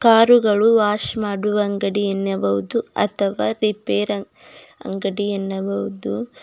ಕಾರುಗಳು ವಾಶ್ ಮಾಡುವ ಅಂಗಡಿಯನ್ನಬಹುದು ಅಥವಾ ರಿಪೇರ್ ಅಂ ಅಂಗಡಿಯನ್ನಬಹುದು.